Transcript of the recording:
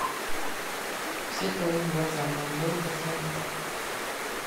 все твои глаза манвел пашаян